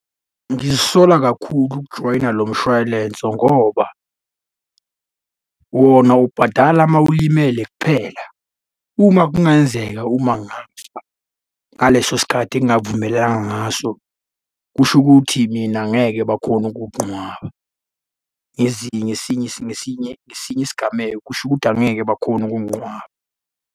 Ngizisola kakhulu ukujoyina lo mshwalense ngoba wona ubhadala uma ulimele kuphela. Uma kungenzeka uma ngaleso sikhathi engavumelananga ngaso, kusho ukuthi mina ngeke bakhone ukukunqwaba. Ngezinye ngesinye isigameko kusho ukuthi angeke bakhone ukunginqwaba.